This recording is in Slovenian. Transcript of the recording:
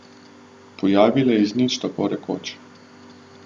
Pojavile iz nič, tako rekoč.